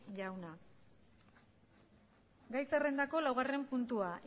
jauna gai zerrendako laugarren puntua